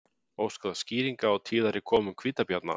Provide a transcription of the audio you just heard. Óskað skýringa á tíðari komum hvítabjarna